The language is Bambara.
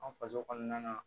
An faso kɔnɔna